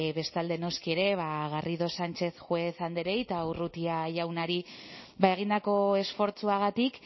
bestalde noski ere garrido sánchez juez andreei eta urrutia jaunari egindako esfortzuagatik